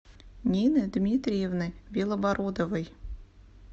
нины дмитриевны белобородовой